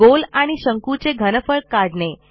गोल आणि शंकूचे घनफळ काढणे